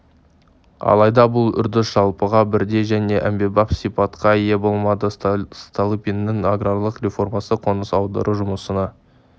алайда бұл үрдіс жалпыға бірдей және әмбебап сипатқа ие болмады столыпиннің аграрлық реформасы қоныс аудару жұмысына